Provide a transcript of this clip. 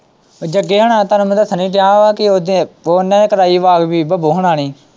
ਜੱਗੇ ਹੁਣਾ ਨੇ ਤੁਹਾਨੂੰੰ ਮੈਂ ਦੱਸਣ ਹੀ ਦਿਆਂ ਆ ਕਿ ਉਹਨਾਂ ਨੇ ਬੱਬੋ ਹੋਣਾ ਨੇ।